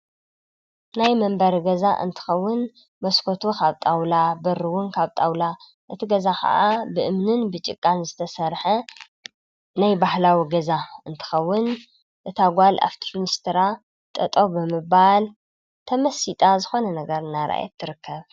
ናይ መንበር ገዛ እንትኸውን መስኮቶ ኻብጣውላ በርውን ካብ ጣውላ እቲ ገዛ ኸዓ ብእምንን ብጭቃን ዝተሠርሐ ናይ ባሕላዊ ገዛ እንትኸውን እቲ ጓል ኣፍትርኒስትራ ጠጠ ብምባል ተመሲጣ ዝኾነ ነገር እና ረየት ትርከብ።